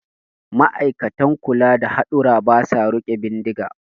Ma'aikatan kula da hadurra ba sa riƙe bindiga